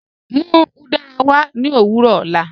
Mú udara wà ní ọ̀wọ̀rọ̀ ọ̀lá.